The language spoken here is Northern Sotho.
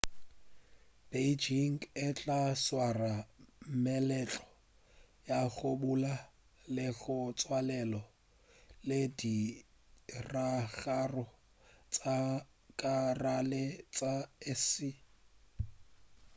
beijing e tla swara meletlo ya go bula le go tswalela le ditiragalo tša ka gare tša aese